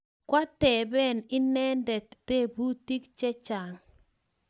Kwatepen inendet teputik chechang'